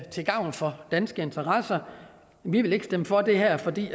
til gavn for danske interesser vi vil ikke stemme for det her fordi